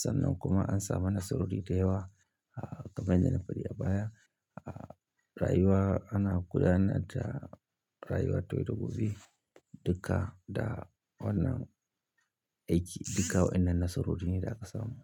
sannan kuma an samu nasarori da yawa. Ah, kamar yadda na faɗi a baya, ah, rayuwa ana gudanar da rayuwa ta yau da gobe duka. Duka da wannan aiki duka wainnan nasarori ne da aka samu.